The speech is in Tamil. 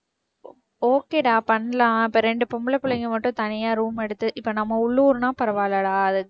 okay da பண்ணலாம் இப்ப ரெண்டு பொம்பள பிள்ளைங்க மட்டும் தனியா room எடுத்து இப்ப நம்ம உள்ளூர்னா பரவாயில்லடா